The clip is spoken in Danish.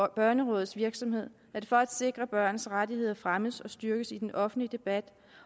børnerådets virksomhed er det for at sikre at børns rettigheder fremmes og styrkes i den offentlige debat